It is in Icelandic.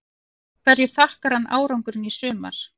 Hverju þakkar hann árangurinn í sumar?